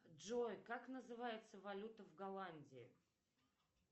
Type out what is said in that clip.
джой как называется валюта в голландии